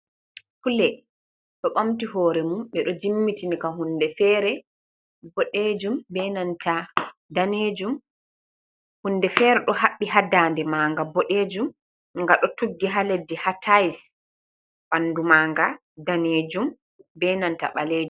Kule ɗo ɓamti hore mum ɓeɗo jimmitiika hunde fere boɗejum be nanta danejum hunde fere ɗo haɓɓi ha da'nde ma nga boɗejum nga ɗo tuggi ha leddi ha tais bandu ma nga danejum be nanta balejum.